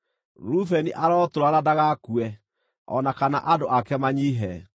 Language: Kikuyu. “Rubeni arotũũra na ndagakue, o na kana andũ ake manyiihe.”